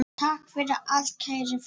Takk fyrir allt, kæri frændi.